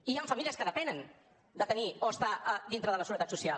i hi han famílies que depenen de tenir o estar a dintre de la seguretat social